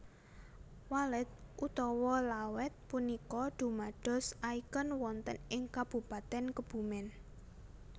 Walet utawa Lawet punika dumados icon wonten ing Kabupaten Kebumen